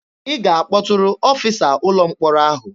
Ị ga-akpọtụrụ ọfịsa ụlọ mkpọrọ ahụ!